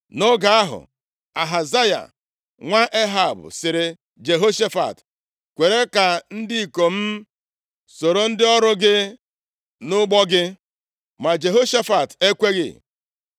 Nʼoge ahụ, Ahazaya nwa Ehab sịrị Jehoshafat, “Kwere ka ndị ikom m soro ndị ọrụ gị nʼụgbọ gị,” ma Jehoshafat ekweghị.